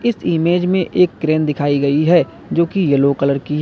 image में एक crane दिखाई गई है जो कि येलो कलर की --